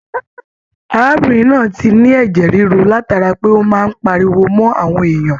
Arábìnrin náà ti ní ẹjẹ rírú látara pé o máa n páríwó mọ àwọn èèyàn.